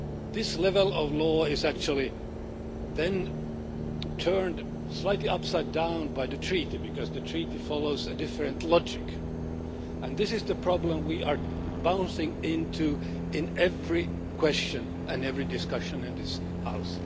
This level of law is actually then turned slightly upside down by the Treaty, because the Treaty follows a different logic, and this is the problem we are running into with every question and every discussion in this House.